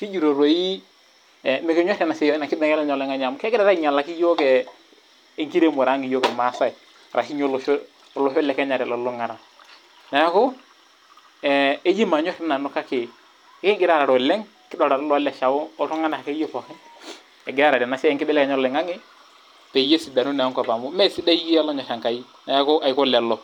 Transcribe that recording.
,kijito mookure kinyor ena siai enkibelekenyata oloingange amu kegira ainyalaki yiok enkiremore ang yiok kira ,arashu olosho pookin telulungata. Neeku eji manyor doi nanu kake kingira aarare oleng, kidolita dei akeyie looleshao oltunganak akeyie pookin ,egira aarare ena siai enkibelekenyata oloingange peyie esidanu naa enkop amu mesidai iyie olonyor Enkai neeku taa lelo.